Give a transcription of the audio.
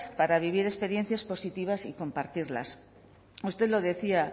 para vivir experiencias positivas y compartirlas usted lo decía